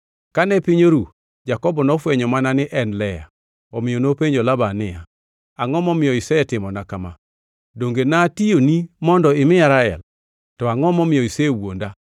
Kane piny oru, Jakobo nofwenyo mana ni en Lea! Omiyo nopenjo Laban niya, “Angʼo momiyo isetimona kama? Donge natiyoni mondo imiya Rael? To angʼo momiyo isewuonda?”